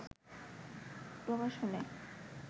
প্রকাশ হলে